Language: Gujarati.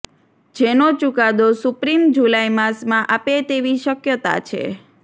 જેનો ચુકાદો સુપ્રિમ જુલાઈ માસમાં આપે તેવી શક્યતા છે